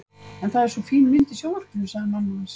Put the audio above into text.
En það er svo fín mynd í sjónvarpinu sagði mamma hans.